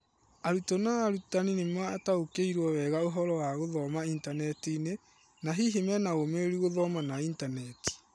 Arutwo na Arutani nĩmataũkĩirwo wega ũhoro wa gũthoma intaneti -inĩ, na hihi manaũmĩrĩru gũthoma na itaneti ?